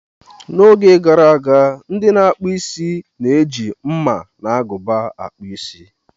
N'oge gara aga, ndị na-akpụ isi na-eji mma na agụba akpu Ịsị.